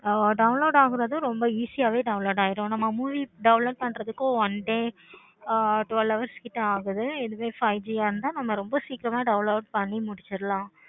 ஆஹ் download ஆகுறது ரொம்ப easy யாவே download ஆகிடும். நம்ப movie download one day twelve hours கிட்ட ஆகுது இதுவேய five G இருந்த ரொம்ப சீக்கிரமா download பண்ணி முடிச்சிடலாம்.